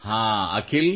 ಹಾಂ ಅಖಿಲ್